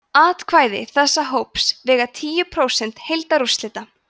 atkvæði þessa hóps vega tíu prósent heildarúrslita